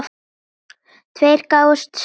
Tveir gáfust strax upp.